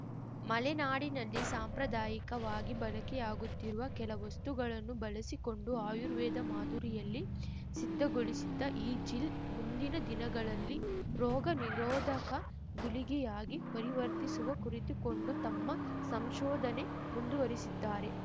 ಮಲೆನಾಡಿನಲ್ಲಿ ಸಾಂಪ್ರದಾಯಿಕವಾಗಿ ಬಳಕೆಯಾಗುತ್ತಿರುವ ಕೆಲ ವಸ್ತುಗಳನ್ನು ಬಳಸಿಕೊಂಡು ಆಯುರ್ವೇದ ಮಾದುರಿಯಲ್ಲಿ ಸಿದ್ಧಗೊಳಿಸಿದ್ದ ಈ ಜಿಲ್‌ ಮುಂದಿನ ದಿನಗಳಲ್ಲಿ ರೋಗ ನಿರೋಧಕ ಗುಳಿಗೆಯಾಗಿ ಪರಿವರ್ತಿಸುವ ಕುರಿತು ಕೊಂಡು ತಮ್ಮ ಸಂಶೋಧನೆ ಮುಂದುವರಿಸಿದ್ದಾರೆ